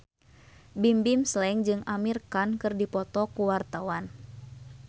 Bimbim Slank jeung Amir Khan keur dipoto ku wartawan